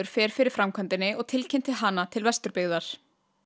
fer fyrir framkvæmdinni og tilkynnti hana til Vesturbyggðar